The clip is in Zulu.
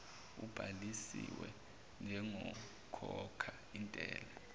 ubhalisiwe njengokhokha intela